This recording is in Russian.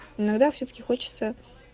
иногда всё-таки хочется